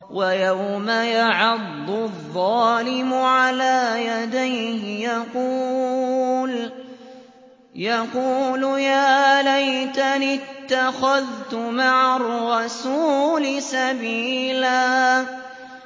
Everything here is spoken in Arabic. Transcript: وَيَوْمَ يَعَضُّ الظَّالِمُ عَلَىٰ يَدَيْهِ يَقُولُ يَا لَيْتَنِي اتَّخَذْتُ مَعَ الرَّسُولِ سَبِيلًا